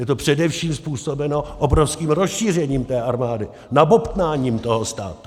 Je to především způsobeno obrovským rozšířením té armády, nabobtnáním toho státu.